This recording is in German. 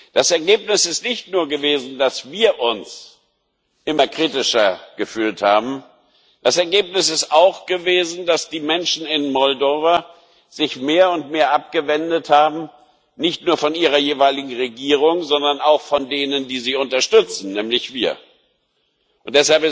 Das Ergebnis ist nicht nur gewesen, dass wir uns immer kritischer gefühlt haben, das Ergebnis ist auch gewesen, dass die Menschen in Moldau sich mehr und mehr abgewendet haben, nicht nur von ihrer jeweiligen Regierung, sondern auch von denen, die sie unterstützen nämlich uns.